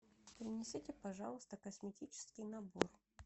принесите пожалуйста косметический набор